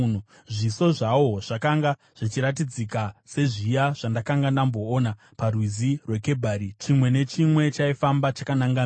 Zviso zvawo zvakanga zvichiratidzika sezviya zvandakanga ndamboona paRwizi rweKebhari. Chimwe nechimwe chaifamba chakananga mberi.